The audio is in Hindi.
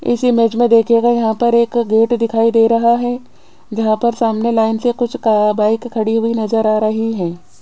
इसी इमेज में देखिएगा यहां पर एक गेट दिखाई दे रहा है जहां पर सामने लाइन से कुछ का बाइक खड़ी हुई नजर आ रही है।